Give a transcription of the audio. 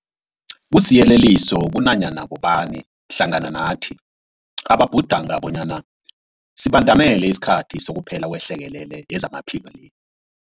Kusiyeleliso kunanyana bobani hlangana nathi ababhudanga bonyana sibandamele isikhathi sokuphela kwehlekelele yezamaphilo le.